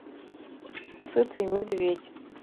сытый медведь